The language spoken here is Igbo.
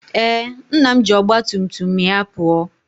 Ee, nna m ji ọgba tum tum ya pụọ